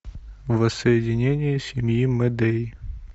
воссоединение семьи мэдеи